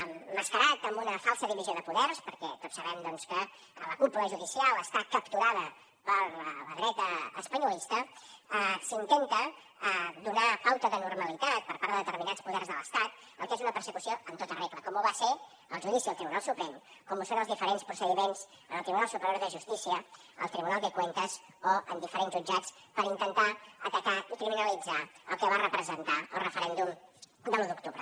emmascarat en una falsa divisió de poders perquè tots sabem doncs que la cúpula judicial està capturada per la dreta espanyolista s’intenta donar pauta de normalitat per part de determinats poders de l’estat al que és una persecució en tota regla com ho va ser el judici del tribunal suprem com ho són els diferents procediments al tribunal superior de justícia al tribunal de cuentas o a diferents jutjats per intentar atacar i criminalitzar el que va representar el referèndum de l’u d’octubre